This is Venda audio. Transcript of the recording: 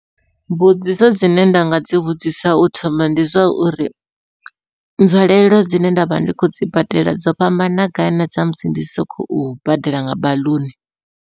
Mbudziso dzine nda nga dzi vhudzisa u thoma ndi zwa uri, nzwalelo dzine ndavha ndi khou dzi badela dzo fhambana gai nadza musi ndi si khou badela nga baḽuni.